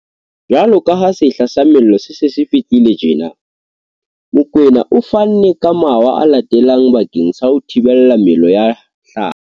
Jwaloka ha sehla sa mello se se se fihlile tjena, Mokoena o fanne ka mawa a latelang bakeng sa ho thibela mello ya hlaha.